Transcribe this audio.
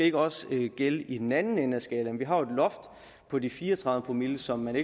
ikke også skulle gælde i den anden ende af skalaen for vi har jo et loft på de fire og tredive promille som man